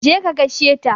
Je ka gaishe shi.